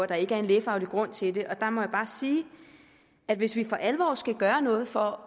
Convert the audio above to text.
der ikke er en lægefaglig grund til det jeg må bare sige at hvis vi for alvor skal gøre noget for